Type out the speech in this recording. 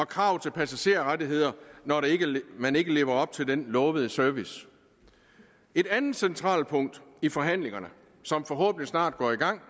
krav til passagerrettigheder når man ikke lever op til den lovede service et andet centralt punkt i forhandlingerne som forhåbentlig snart går i gang